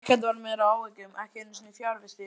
Ekkert varð mér að áhyggjum, ekki einu sinni fjarvistir.